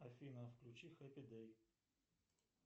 афина включи хэппи дэй